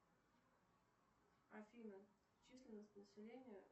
афина численность населения